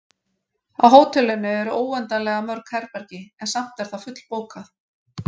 Á hótelinu eru óendanlega mörg herbergi, en samt er það fullbókað.